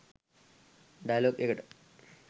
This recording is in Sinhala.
ඩය‍ලොග් එකට.